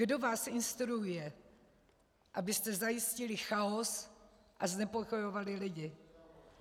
Kdo vás instruuje, abyste zajistili chaos a znepokojovali lidi?